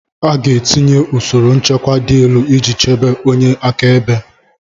A ga-etinye usoro nchekwa dị elu iji chebe onye akaebe